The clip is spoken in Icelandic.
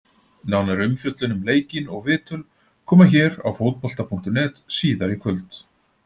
Nánari umfjöllun um leikinn og viðtöl koma hér á Fótbolta.net síðar í kvöld.